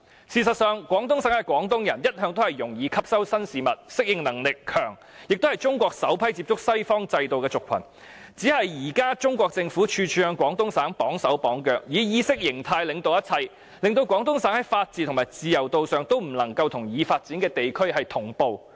事實上，廣東省的廣東人一向容易吸收新事物、適應能力強，也是中國首批接觸西方制度的族群，只是現時中國政府處處向廣東省"綁手綁腳"，以意識形態領導一切，令廣東省在法治和自由度上也不能夠與已發展地區同步。